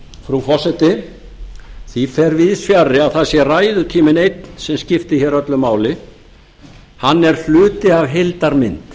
frú forseti því fer víðsfjarri að það sé ræðutíminn einn sem skiptir hér öllu máli hann er hluti af heildarmynd